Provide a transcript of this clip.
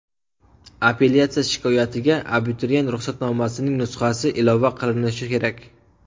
Apellyatsiya shikoyatiga abituriyent ruxsatnomasining nusxasi ilova qilinishi kerak.